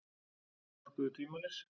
Álitin orkuðu tvímælis